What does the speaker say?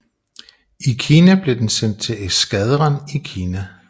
I 1895 blev den sendt til eskadren i Kina